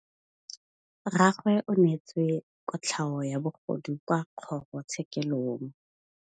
Rragwe o neetswe kotlhaô ya bogodu kwa kgoro tshêkêlông.